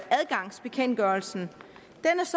adgangsbekendtgørelsen